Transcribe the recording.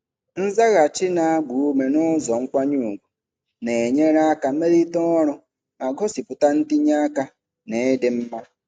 Nzaghachi na-agba ume n'ụzọ nkwanye ùgwù na-enyere aka melite ọrụ ma gosipụta ntinye aka na ịdị mma.